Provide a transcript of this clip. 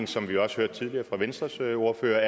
som vi også hørte tidligere fra venstres ordfører